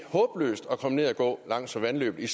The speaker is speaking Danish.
håbløst at komme ned at gå langs vandløbet